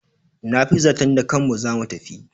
Na fi zaton da kanmu za mu tafi.